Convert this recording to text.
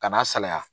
Ka n'a salaya